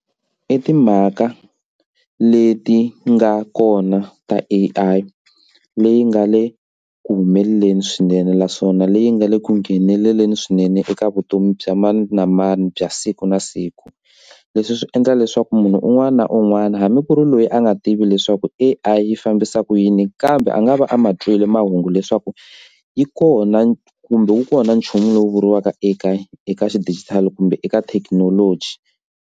I timhaka leti nga kona ta A_I leyi nga le ku humeleleni swinene naswona leyi nga le ku ngheneleleni swinene eka vutomi bya mani na mani bya siku na siku. Leswi swi endla leswaku munhu un'wana na un'wana hambi ku ri loyi a nga tivi leswaku A_I yi fambisa ku yini kambe a nga va a ma twile mahungu leswaku yi kona kumbe wu kona nchumu lowu vuriwaka eka eka xidijitali kumbe eka thekinoloji.